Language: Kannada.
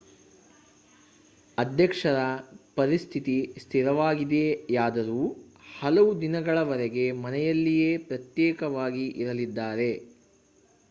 ಅಧ್ಯಕ್ಷರ ಪರಿಸ್ಥಿತಿ ಸ್ಥಿರವಾಗಿದೆಯಾದರೂ ಹಲವು ದಿನಗಳವರೆಗೆ ಮನೆಯಲ್ಲಿಯೇ ಪ್ರತ್ಯೇಕವಾಗಿ ಇರಲಿದ್ದಾರೆ